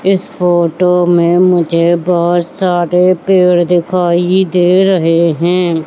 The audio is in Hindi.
इस फोटो में मुझे बहोत सारे पेड़ दिखाई दे रहे हैं।